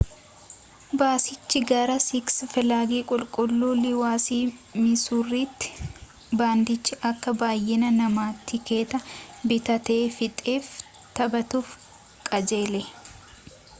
baasichi gara siks filaagi qulqulluu liiwusii misuuritti baandiichi akka baayyina namaa tikeeta bitatee fixeef taphatuuf qajeele